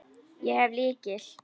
Ég hef lykil.